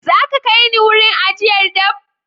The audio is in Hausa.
Za a iya kai ni wurin ajiyar dabb?